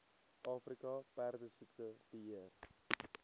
afrika perdesiekte beheer